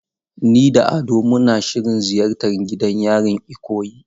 Ni da Ado muna shirin ziyartar gidan yarin Ikoyi.